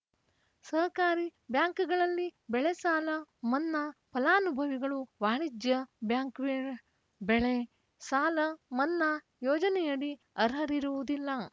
ಸಹಕಾರಿ ಬ್ಯಾಂಕ್‌ಗಳಲ್ಲಿ ಬೆಳೆ ಸಾಲ ಮನ್ನಾ ಫಲಾನುಭವಿಗಳು ವಾಣಿಜ್ಯ ಬ್ಯಾಂಕ್‌ ಬೆಳ್ ಬೆಳೆ ಸಾಲ ಮನ್ನಾ ಯೋಜನೆಯಡಿ ಅರ್ಹರಿರುವುದಿಲ್ಲ